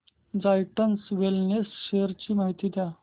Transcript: Zydus wellness shares ची माहिती द्या